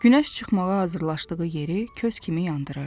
Günəş çıxmağa hazırlaşdığı yeri kös kimi yandırırdı.